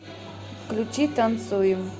включи танцуем